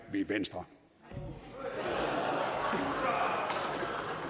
her hold